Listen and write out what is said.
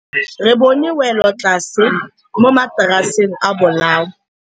Re bone wêlôtlasê mo mataraseng a bolaô.